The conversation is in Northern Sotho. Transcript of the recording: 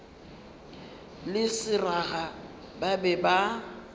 le seraga ba be ba